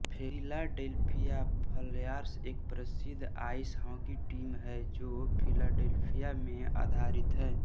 Philadelphia Flyers एक प्रसिद्ध ice hockey team है जो फिलाडेल्फिया में आधारित है